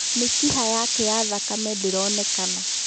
Mĩkiha yake ya thakame ndĩronekana.